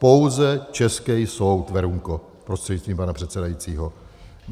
Pouze český soud, Verunko prostřednictvím pana předsedajícího.